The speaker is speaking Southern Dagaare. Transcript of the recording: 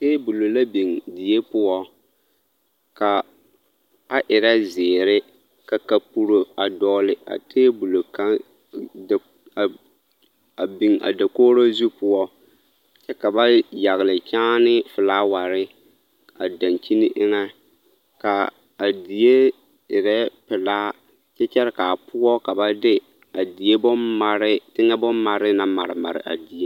Teebolo la biŋ die poɔ, ka a erɛ zeere, ka kapuro dɔgele a teebolo kaŋ a biŋ a dakogiro zu poɔ kyɛ ka ba yagele kyaane filaaware a dankyini eŋɛ ka a die erɛ pelaa kyɛ kyɛre k'a poɔ ka ba de a die bommaree, teŋɛ bommaree a mare mare a die.